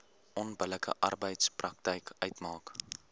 onbillike arbeidspraktyk uitmaak